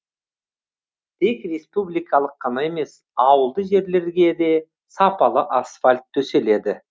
тек республикалық қана емес ауылды жерлерге де сапалы асфальт төселеді